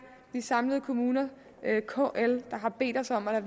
de samlede kommuner kl der har bedt os om at